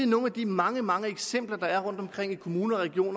nogle af de mange mange eksempler der er rundtomkring i kommuner og regioner